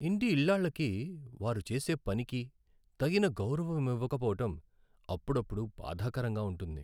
ఇంటి ఇల్లాళ్ళకి వారు చేసే పనికి తగిన గౌరవం ఇవ్వకపోవడం అప్పుడప్పుడు బాధాకరంగా ఉంటుంది.